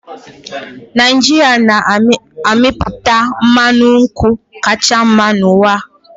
Naijiria na-amịpụta mmanụ nkwụ kacha mma n'ụwa